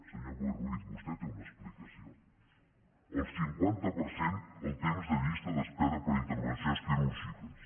senyor boi ruiz vostè té una explicació el cinquanta per cent el temps de llista d’espera per a intervencions quirúrgiques